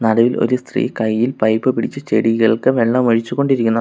നടുവിൽ ഒരു സ്ത്രീ കൈയിൽ പൈപ്പ് പിടിച്ച് ചെടികൾക്ക് വെള്ളമൊഴിച്ച് കൊണ്ടിരിക്കുന്നു.